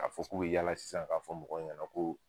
A fɔ k'u be yaala sisan k'a fɔ mɔgɔw ɲana ko